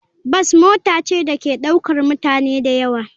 Bas mota ce da ke ɗaukar mutane da yawa.